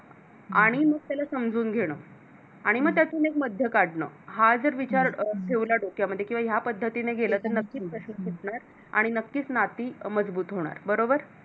आणि मग त्याला समजून घेणं आणि मग त्यातून एक मध्य काढण हा जर विचार ठेवला डोक्यामध्ये किंवा या पद्धतीने गेलं तर नक्क्कीच आणि नक्कीच नाती मजबूत होणार बरोबर